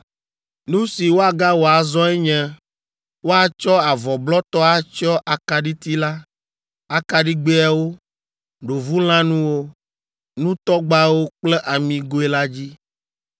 “Nu si woagawɔ azɔe nye woatsɔ avɔ blɔtɔ atsyɔ akaɖiti la, akaɖigbɛawo, ɖovulãnuwo, nutɔgbawo kple amigoe la dzi.